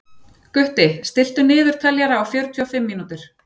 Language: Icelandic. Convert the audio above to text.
Gutti, stilltu niðurteljara á fjörutíu og fimm mínútur.